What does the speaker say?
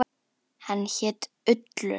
Hann hét Ullur.